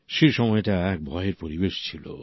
সে সময়টা এক ভয়ের পরিবেশ ছিল